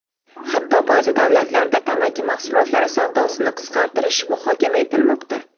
Hatto ba’zi davlatlarda tamaki mahsulotlari savdosini qisqartirish muhokama etilmoqda.